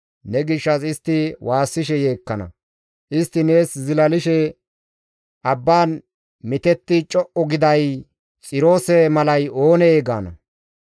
Ne gishshas istti waassishe yeekkana; istti nees zilalishe, ‹Abban mitetti co7u giday, Xiroose malay oonee?› gaana.